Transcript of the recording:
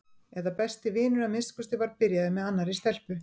eða besti vinur að minnsta kosti var byrjaður með annarri stelpu.